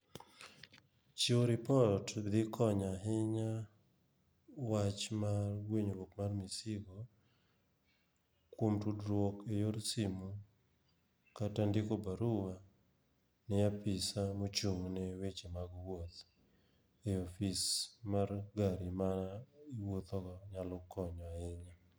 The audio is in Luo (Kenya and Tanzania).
Chiwo ripot dhi konyo ahinya wach mar gwenyruok mar misigo, kuom tudruok e yor simu. Kata ndiko barua ne apisa mochung' ne weche mag wuoth, e ofis mar gari ma iwuotho go nyalo kionyo ahinya.